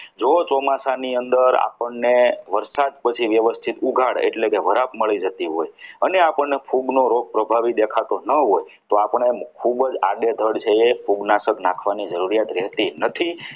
જો ચોમાસાની અંદર આપણને વરસાદ પછી વ્યવસ્થિત ઉઘાડ એટલે કે વરખ મળી જતી હોય છે અને આપણને ફૂગનો રોગ પ્રભાવી દેખાતો ના હોય તો આપણે જે ખૂબ જ આડેધડ છે એ ફૂગનાશક નાખવાની જરૂરિયાત રહેતી નથી